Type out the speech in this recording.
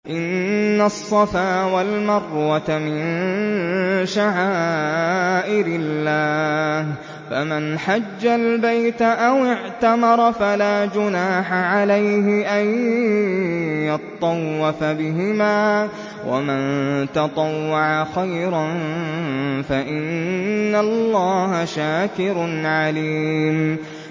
۞ إِنَّ الصَّفَا وَالْمَرْوَةَ مِن شَعَائِرِ اللَّهِ ۖ فَمَنْ حَجَّ الْبَيْتَ أَوِ اعْتَمَرَ فَلَا جُنَاحَ عَلَيْهِ أَن يَطَّوَّفَ بِهِمَا ۚ وَمَن تَطَوَّعَ خَيْرًا فَإِنَّ اللَّهَ شَاكِرٌ عَلِيمٌ